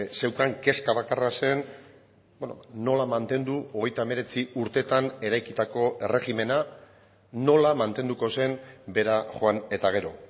zeukan kezka bakarra zen nola mantendu hogeita hemeretzi urteetan eraikitako erregimena nola mantenduko zen bera joan eta gero